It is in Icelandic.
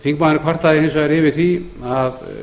þingmaðurinn kvartaði hins vegar yfir því að